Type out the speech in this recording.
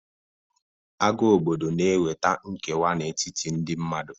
Agha obodo na-eweta nkewa n'etiti ndị mmadụ.